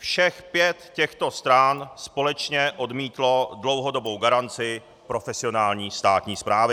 Všech pět těchto stran společně odmítlo dlouhodobou garanci profesionální státní správy.